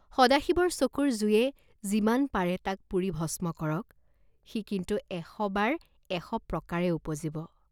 সদাশিৱৰ চকুৰ জুয়ে যিমান পাৰে তাক পুৰি ভস্ম কৰক, সি কিন্তু এশবাৰ এশ প্ৰকাৰে উপজিব।